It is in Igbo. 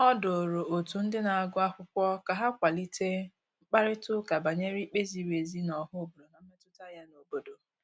O duru otu ndị na-agụ akwụkwọ ka ha kwalite mkparịtaụka banyere ikpe ziri ezi n' ọha obodo na mmetụta ya n'obodo.